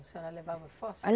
A senhora levava o fósforo?